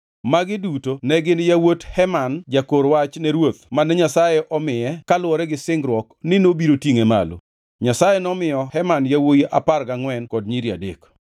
Magi duto ne gin yawuot Heman jakor wach ne ruoth mane Nyasaye omiye kaluwore gi singruok ni nobiro tingʼe malo. Nyasaye nomiyo Heman yawuowi apar gangʼwen kod nyiri adek.